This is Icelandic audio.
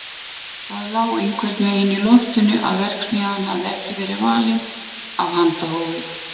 Það lá einhvern veginn í loftinu að verksmiðjan hefði ekki verið valin af handahófi.